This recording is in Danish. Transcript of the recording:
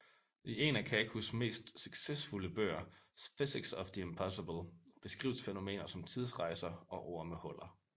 I en af Kakus mest succesfulde bøger Physics of the Impossible beskrives fænomener som tidsrejser og ormehuller